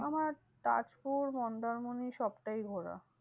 আমার তাজপুর মন্দারমণি সবটাই ঘোরা।